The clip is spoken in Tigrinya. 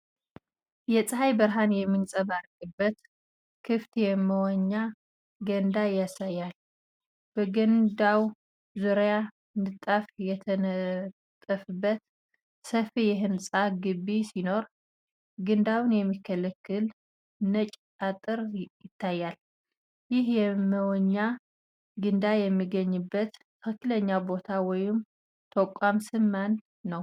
የፀሐይ ብርሃን የሚያንፀባርቅበት ክፍት የመዋኛ ገንዳ ያሳያል። በገንዳው ዙሪያ ንጣፍ የተነጠፈበት ሰፊ የሕንፃ ግቢ ሲኖር፣ ገንዳውን የሚከለክል ነጭ አጥር ይታያል። ይህ የመዋኛ ገንዳ የሚገኝበት ትክክለኛ ቦታ ወይም ተቋም ስም ማን ነው?